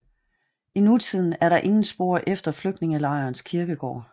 I nutiden er der ingen spor efter flygtningelejrens kirkegård